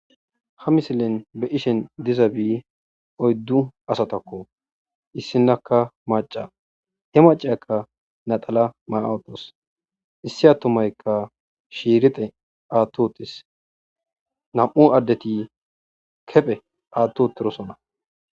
Ha misilen be7ishin dizabi oyddu asthakoo; issinnakka macca; he macciyakka naxalaa maya7uththas; issi aththumaykka shiirixe aaththi7uththis; naa7u addethi kephe aaththi7uththirosona.